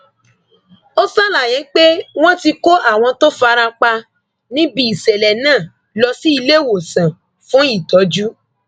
ó ṣàlàyé pé wọn ti kó àwọn tó fara pa níbi ìṣẹlẹ náà lọ sí ilé ìwòsàn fún ìtọjú